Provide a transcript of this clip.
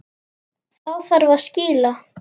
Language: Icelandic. Þá þarf að skýla.